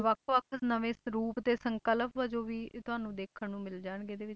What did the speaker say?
ਵੱਖ ਵੱਖ ਨਵੇਂ ਸਰੂਪ ਤੇ ਸੰਕਲਪ ਜੋ ਵੀ ਤੁਹਾਨੂੰ ਦੇਖਣ ਨੂੰ ਮਿਲ ਜਾਣਗੇ ਇਹਦੇ ਵਿੱਚ